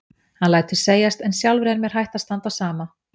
Hann lætur segjast en sjálfri er mér hætt að standa á sama.